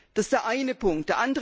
Das ist der eine Punkt.